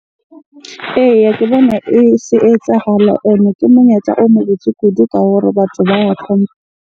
Eya, ke bona e se etsahala ene ke monyetla o mo botse kudu ka hore batho ba ya .